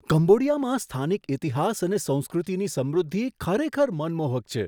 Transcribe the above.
કંબોડિયામાં સ્થાનિક ઇતિહાસ અને સંસ્કૃતિની સમૃદ્ધિ ખરેખર મનમોહક છે.